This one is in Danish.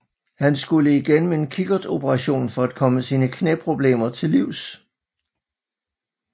Han skulle igennem en kikkertoperation for at komme sine knæproblemer til livs